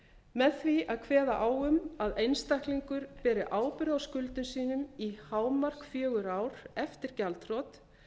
með því að kveða á um að einstaklingur beri ábyrgð á skuldum sínum í hámark fjögur ár eftir gjaldþrot